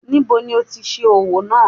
Níbo ni ó ti ṣe owó náà?